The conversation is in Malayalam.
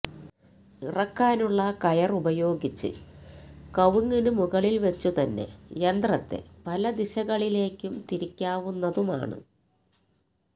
ഇറക്കാനുള്ള കയര് ഉപയോഗിച്ച് കവുങ്ങിനു മുകളില് വച്ചുതന്നെ യന്ത്രത്തെ പല ദിശകളിലേക്കും തിരിക്കാവുന്നതുമാണ്